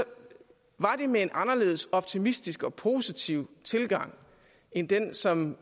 var det med en anderledes optimistisk og positiv tilgang end den som